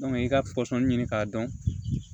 i ka pɔsɔnni ɲini k'a dɔn